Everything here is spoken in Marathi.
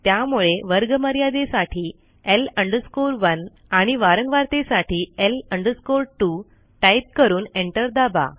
त्यामुळे वर्गमर्यादेसाठी L 1 आणि वारंवारतेसाठी L 2 टाईप करून एंटर दाबा